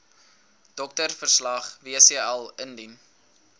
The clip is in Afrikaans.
doktersverslag wcl indien